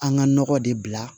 An ga nɔgɔ de bila